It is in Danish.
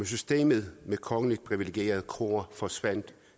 systemet med kongeligt privilegerede kroer forsvandt